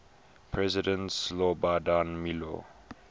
president slobodan milo